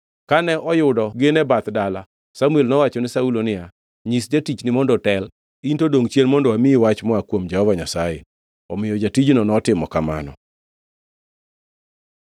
Kane oyudo gin e bath dala, Samuel nowachone Saulo niya, “Nyis jatichni mondo otel, in to dongʼ chien mondo amiyi wach moa kuom Nyasaye.” Omiyo jatijno notimo kamano.